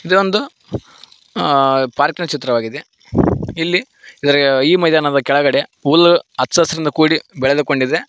ಇದೊಂದು ಅ ಪಾರ್ಕ್ ನ ಚಿತ್ರವಾಗಿದೆ ಇಲ್ಲಿ ಇದರ ಈ ಮೈದಾನದ ಕೆಳಗಡೆ ಹುಲ್ಲ ಅಚ್ಚ ಹಸಿರಿನಿಂದ ಕುಡಿ ಬೆಳೆದು ಕೊಂಡಿದೆ.